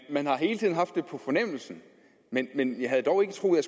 man har hele tiden haft det på fornemmelsen men men jeg havde dog ikke troet at